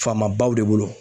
Faamabaw de bolo.